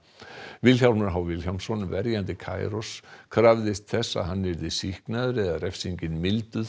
Vilhjálmur h Vilhjálmsson verjandi krafðist þess að hann yrði sýknaður eða refsingin milduð